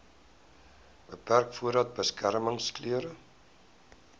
beperk voordat beskermingsklere